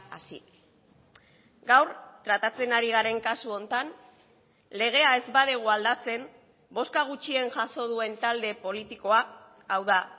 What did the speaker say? así gaur tratatzen ari garen kasu honetan legea ez badugu aldatzen bozka gutxien jaso duen talde politikoa hau da